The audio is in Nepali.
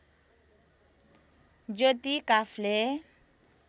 ज्योति काफ्ले